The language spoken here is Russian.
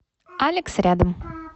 алекс рядом